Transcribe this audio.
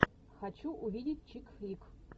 хочу увидеть чикфлик